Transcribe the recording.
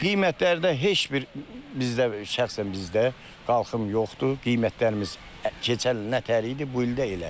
Qiymətlərdə heç bir bizdə şəxsən bizdə qalxım yoxdur, qiymətlərimiz keçən il nətər idi, bu il də elədir.